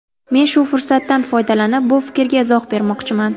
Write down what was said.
Men shu fursatdan foydalanib bu fikrga izoh bermoqchiman.